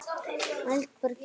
Eldborg í Hörpu.